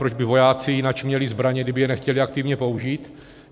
Proč by vojáci jináč měli zbraně, kdyby je nechtěli aktivně použít?